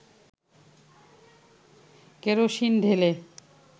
kerosene ঢেলে